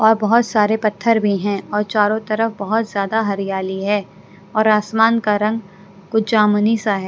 और बहुत सारे पत्थर भी हैं और चारों तरफ बहुत ज़्यादा हरियाली है और आसमान का रंग कुछ जामुनी सा है।